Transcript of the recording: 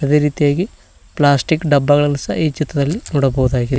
ಅದೇ ರೀತಿಯಾಗಿ ಪ್ಲಾಸ್ಟಿಕ್ ಡಬ್ಬಗಳನ್ನು ಸಹ ಈ ಚಿತ್ರದಲ್ಲಿ ನೋಡಬೋದಾಗಿದೆ.